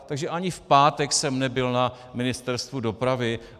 Takže ani v pátek jsem nebyl na Ministerstvu dopravy.